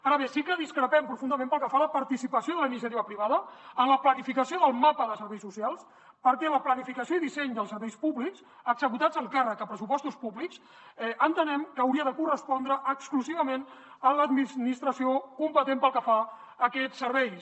ara bé sí que discrepem profundament pel que fa a la participació de la iniciativa privada en la planificació del mapa de serveis socials perquè la planificació i disseny dels serveis públics executats amb càrrec a pressupostos públics entenem que hauria de correspondre exclusivament a l’administració competent pel que fa a aquests serveis